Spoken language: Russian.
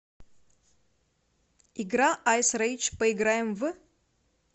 игра айс рейдж поиграем в